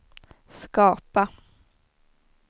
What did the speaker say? skapa